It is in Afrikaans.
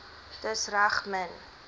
dis reg min